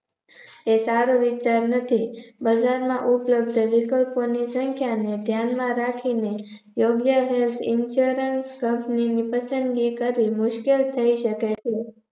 એ સારું વિચાર નથી બજારમાં ઉપલબ્ધ વિકલ્પોની સંખ્યાને ધ્યાન માં રાખીને યોગ્ય helth insurance company ની પસન્દગી કરવી મુશ્કેલ થઇ શકે છે.